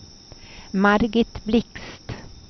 Margit Blixt